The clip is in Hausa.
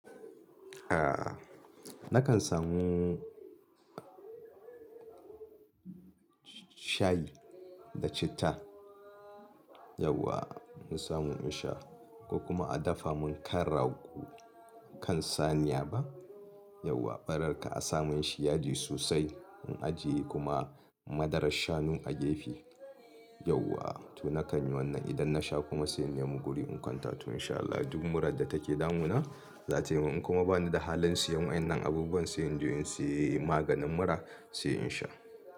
A'a nakan samu shayi da citta. Yauwa in samu in sha ko kuma a dafa mun kan rago kan saniya ba? Yauwa barar ka a samun shi yaji sosai in ajiye kuma madarar shanu a gefe. Yauwa to nakan yi wannan idan na sha kuma sai in nemi guri in kwanta to insha Allah duk murar da take damuna za ta yi min. In kuma bani da halin siyan waƴannan abubuwan sai in je in, siye maganin mura sai in sha.